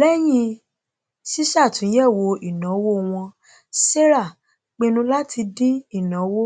lẹyìn ṣíṣàtúnyẹwò ìnáwó wọn sarah pinnu láti dín ináwó